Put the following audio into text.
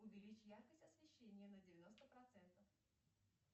увеличь яркость освещения на девяносто процентов